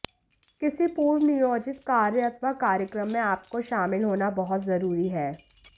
किसी पूर्व नियोजित कार्य अथवा कार्यक्रम में आपको शामिल होना बहुत जरूरी है